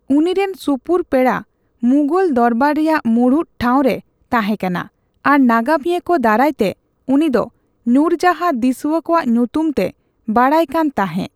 ᱩᱱᱤᱨᱤᱱ ᱥᱩᱯᱩᱨ ᱯᱮᱲᱟ ᱢᱩᱜᱚᱞ ᱫᱚᱨᱵᱟᱨ ᱨᱮᱭᱟᱜ ᱢᱩᱬᱩᱛ ᱴᱷᱟᱣ ᱨᱮ ᱛᱟᱸᱦᱮ ᱠᱟᱱᱟ ᱟᱨ ᱱᱟᱜᱟᱢᱤᱭᱟᱹ ᱠᱚ ᱫᱟᱨᱟᱭ ᱛᱮ ᱩᱱᱤᱫᱚ ᱱᱩᱨᱡᱟᱸᱦᱟ ᱫᱤᱥᱣᱟᱹ ᱠᱚᱣᱟᱜ ᱧᱩᱛᱩᱢ ᱛᱮ ᱵᱟᱰᱟᱭᱚ ᱠᱟᱱ ᱛᱟᱸᱦᱮ᱾